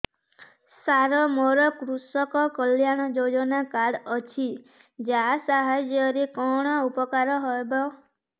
ସାର ମୋର କୃଷକ କଲ୍ୟାଣ ଯୋଜନା କାର୍ଡ ଅଛି ୟା ସାହାଯ୍ୟ ରେ କଣ ଉପକାର ହେବ